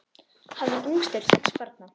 Hann var yngstur sex barna.